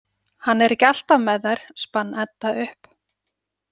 Hann er ekki alltaf með þær, spann Edda upp.